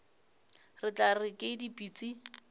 re tla re ke dipitsi